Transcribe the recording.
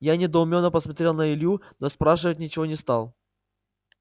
я недоумённо посмотрел на илью но спрашивать ничего не стал